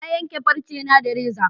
Na yanka farce na da reza